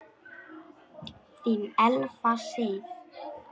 Þín Elfa Sif.